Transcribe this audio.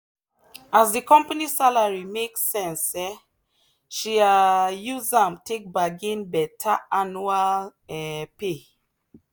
as the company salary make sense um she um use am take bargain better annual um pay.